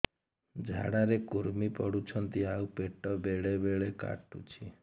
ଝାଡା ରେ କୁର୍ମି ପଡୁଛନ୍ତି ଆଉ ପେଟ ବେଳେ ବେଳେ କାଟୁଛି